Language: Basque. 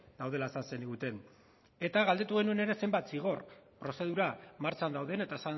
daudela esan zeniguten eta galdetu genuen ere zenbat zigor prozedura martxan dauden eta